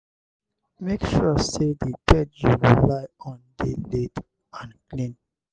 make sure say di bed you go lie on de laid and clean